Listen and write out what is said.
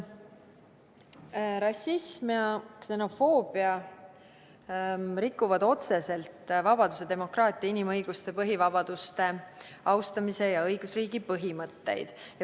" Rassism ja ksenofoobia rikuvad otseselt vabaduse, demokraatia, inimõiguste ja põhivabaduste austamise ning õigusriigi põhimõtteid.